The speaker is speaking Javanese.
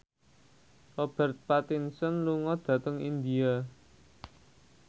Robert Pattinson lunga dhateng India